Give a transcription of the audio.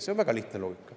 See on väga lihtne loogika.